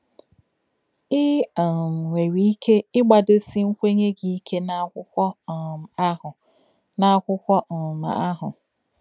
Ị um nwere ike ịgbadosi nkwenye gị ike n'akwụkwọ um ahụ. n'akwụkwọ um ahụ.